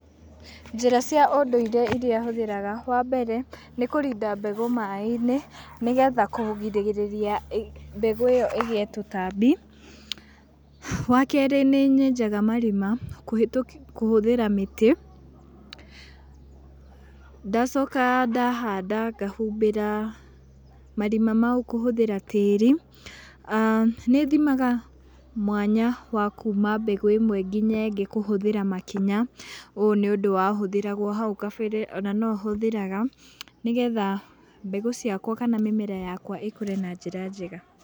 Njīra cia ūndūire iria hūthīraga, wa mbere, nī kūrinda mbegū maaī-inī nī getha kūgirīrīria mbegū īyo īgīe tūtambi. Wa keerī nīnyenjaga marima kūhūthīra mītī, ndacoka ndahanda ngahumbīra marima mau kūhūthīra tīri, nī thimaga mwanya wa kuuma mbegū īmwe nginya īrīa īngī kūhūthīra makinya. Ūyū nī ūndū wahūthagīrwo hau gabere,o na no hūthīraga nī getha mbegū ciakwa kana mīmera yakwa īkūre na njīra njega.